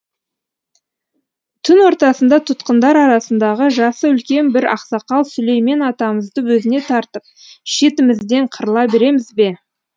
түн ортасында тұтқындар арасындағы жасы үлкен бір ақсақал сүлеймен атамызды өзіне тартып шетімізден қырыла береміз бе